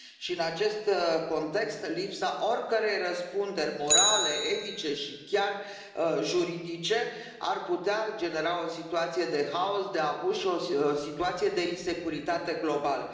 În acest context, lipsa oricărei răspunderi morale, etice și chiar juridice ar putea genera o situație de haos, de abuz și o situație de insecuritate globală.